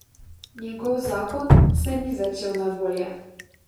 Njegov zakon se ni začel najbolje.